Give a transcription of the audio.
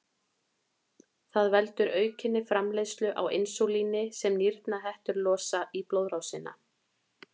Það veldur aukinni framleiðslu á insúlíni sem nýrnahettur losa í blóðrásina.